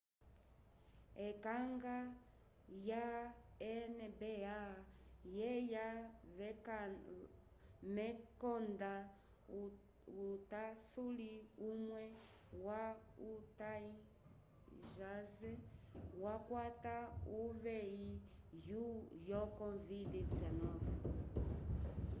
ekanga ya nba yeya mekonda utasuli umwe wa utah jazz wakwata uveyi yo covid-19